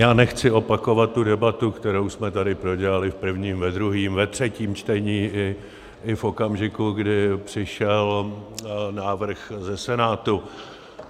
Já nechci opakovat tu debatu, kterou jsme tady prodělali v prvním, ve druhém, ve třetím čtení i v okamžiku, kdy přišel návrh ze Senátu.